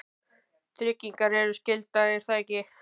tryggingar eru skylda, er það ekki?